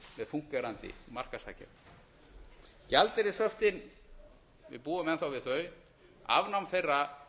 með fúnkerandi markaðshagkerfi gjaldeyrishöftin við búum enn þá við þau afnám þeirra